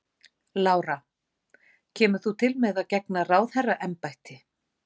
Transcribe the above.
Lára: Kemur þú til með að gegna ráðherraembætti?